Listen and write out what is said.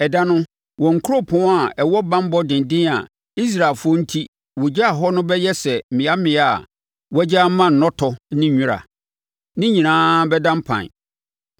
Ɛda no, wɔn nkuropɔn a ɛwɔ banbɔ denden a Israelfoɔ enti wɔgyaa hɔ no bɛyɛ sɛ mmeammea a wɔagya ama nnɔtɔ ne wira. Ne nyinaa bɛda mpan.